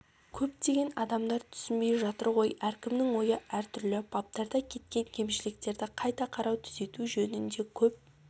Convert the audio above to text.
көптеген адамдар түсінбей жатыр ғой әркімнің ойы әртүрлі баптарда кеткен кемшіліктерді қайта қарау түзету жөнінде көп